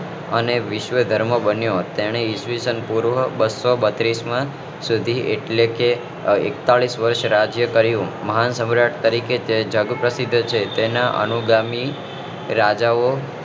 અને વિશ્વ ધર્મ બન્યો તેને ઈસ્વીસન પૂર્વ બસો બત્રીસ માં સુધી એટલે કે એકતાલીસ વર્ષ રાજ્ય કર્યું મહાન સમ્રાટ તરીકે જગ પ્રસિદ્ધ છે તેના અનુગામી રાજા ઓ